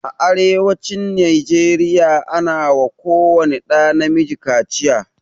A arewacin nigeria ana wa ko wani ɗa na miji kaciya